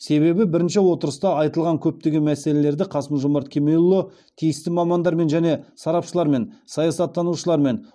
себебі бірінші отырыста айтылған көптеген мәселелерді қасым жомарт кемелұлы тиісті мамандармен және сарапшылармен саясаттанушылармен